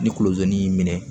Ni kolozi minɛ